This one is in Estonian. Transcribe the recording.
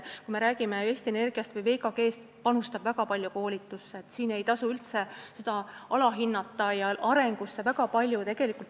Kui me räägime Eesti Energiast või VKG-st, siis nad panustavad väga palju koolitusse, seda ei tasu üldse alahinnata, ja arengusse panustatakse ka väga palju.